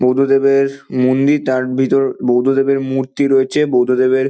বুদ্ধদেবের মন্দির তার ভিতর বৌদ্ধদেবের মূর্তি রয়েছে বৌদ্ধদেবের--